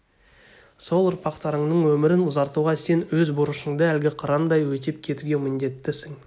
сол ұрпақтарыңның өмірін ұзартуға сен өз борышыңды әлгі қырандай өтеп кетуге міндеттісің